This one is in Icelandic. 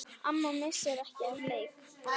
Amma missir ekki af leik.